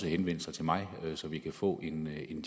at henvende sig til mig så vi kan få en